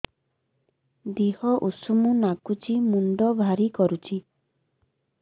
ଦିହ ଉଷୁମ ନାଗୁଚି ମୁଣ୍ଡ ଭାରି କରୁଚି